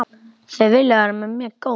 Þau vilja vera mér góð.